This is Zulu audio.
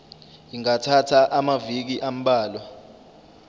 ingathatha amaviki ambalwa